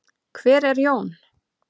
Hver er Jón?